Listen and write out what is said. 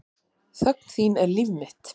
Þögn þín er líf mitt.